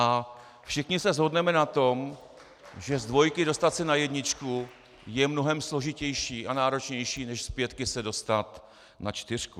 A všichni se shodneme na tom, že z dvojky dostat se na jedničku je mnohem složitější a náročnější než z pětky se dostat na čtyřku.